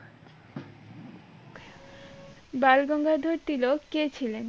বালগঙ্গাধর তিলক কে ছিলেন?